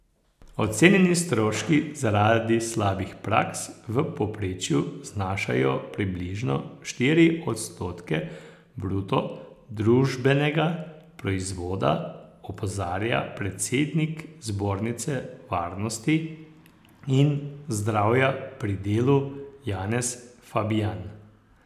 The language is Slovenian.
Ocenjeni stroški zaradi slabih praks v povprečju znašajo približno štiri odstotke bruto družbenega proizvoda, opozarja predsednik Zbornice varnosti in zdravja pri delu Janez Fabijan.